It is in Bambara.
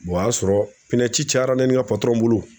o y'a sɔrɔ pinɛci cayara ne ni n ka bolo